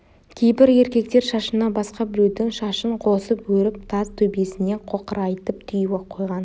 кейбір еркектер шашына басқа біреудің шашын қосып өріп тас төбесіне қоқырайтып түйіп қойған